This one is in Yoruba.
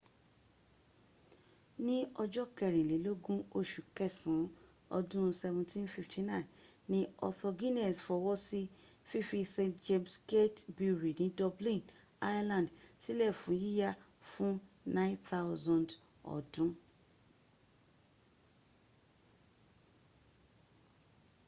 ní ọjọ́ kẹrìnlélógún oṣù kẹsàn án ọdún 1759 ni arthur guinness fọwọ́ sí fífí st james' gate brewery ni dublin ireland sílẹ̀ fún yíya fún 9,000 ọdú